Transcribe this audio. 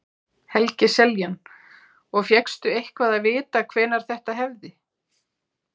Helgi Seljan: Og fékkstu eitthvað að vita hvenær þetta hefði?